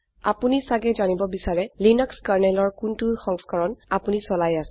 আপোনি ছাগে জানিব বিছাৰে লিনাক্স kernelঅৰ কোনটো সংস্কৰণ আপোনি চলাই আছে